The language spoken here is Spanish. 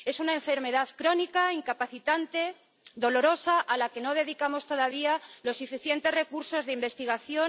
Es una enfermedad crónica, incapacitante, dolorosa, a la que no dedicamos todavía los suficientes recursos de investigación.